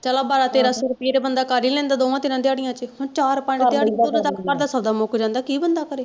ਚਲੋ ਬਾਰਾਂ ਤੇਰਾਂ ਸੋ ਰੁਪਇਆ ਤੇ ਬੰਦਾ ਕਰ ਹੀ ਲੈਂਦਾ ਦੋਹਵਾਂ ਤਿੰਨਾਂ ਦਿਹਾੜੀਆਂ ਚ ਹੁਣ ਚਾਰ ਪੰਜ ਘਰ ਦਾ ਸੌਦਾ ਮੁੱਕ ਜਾਂਦਾ ਕੀ ਬੰਦਾ ਕਰੇ।